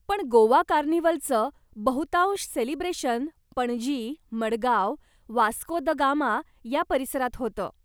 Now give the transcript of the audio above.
पण गोवा कार्निव्हलचं बहुतांश सेलिब्रेशन पणजी, मडगाव, वास्को द गामा या परिसरात होतं.